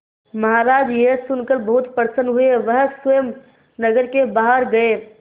महाराज यह सुनकर बहुत प्रसन्न हुए वह स्वयं नगर के बाहर गए